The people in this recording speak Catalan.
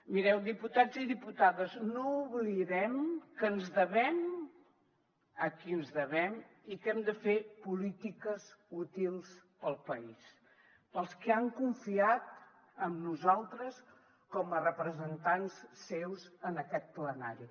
mireu diputats i diputades no oblidem que ens devem a qui ens devem i que hem de fer polítiques útils per al país per als qui han confiat en nosaltres com a representants seus en aquest plenari